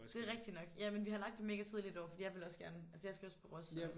Det er rigtigt nok. Jamen vi har lagt den mega tidligt i år for jeg ville også gerne altså jeg skal også på Ros så